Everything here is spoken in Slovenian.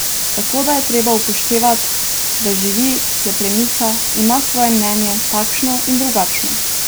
Tako da je treba upoštevat, da živi, se premika, ima svoje mnenje, takšno in drugačno.